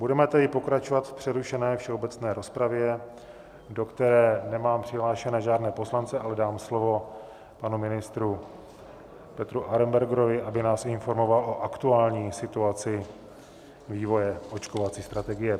Budeme tedy pokračovat v přerušené všeobecné rozpravě, do které nemám přihlášené žádné poslance, ale dám slovo panu ministru Petru Arenbergerovi, aby nás informoval o aktuální situaci vývoje očkovací strategie.